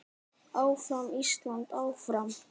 Áfram Ísland, áfram.